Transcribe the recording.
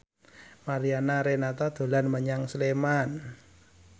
Mariana Renata dolan menyang Sleman